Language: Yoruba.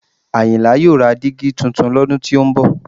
Àyìnlá yóò ra dígí tuntun lọ́dún tó ń bọ̀